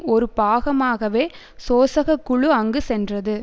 ஒரு பாகமாகவே சோசக குழு அங்கு சென்றது